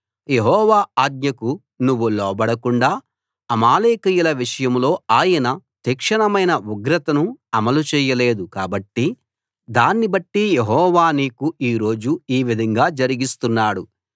యెహోవా ఆజ్ఞకు నువ్వు లోబడకుండా అమాలేకీయుల విషయంలో ఆయన తీక్షణమైన ఉగ్రతను అమలు చేయలేదు కాబట్టి దాన్ని బట్టి యెహోవా నీకు ఈ రోజు ఈ విధంగా జరిగిస్తున్నాడు